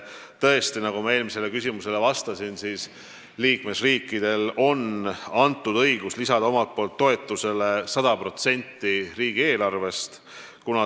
Tõesti, nagu ma eelmisele küsimusele vastates ütlesin, liikmesriikidele on antud õigus lisada omalt poolt toetusele 100%.